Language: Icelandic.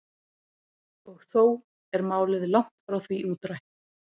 og þó er málið langt frá því útrætt